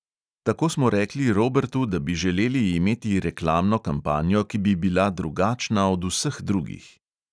Tako smo rekli robertu, da bi želeli imeti reklamno kampanjo, ki bi bila drugačna od vseh drugih.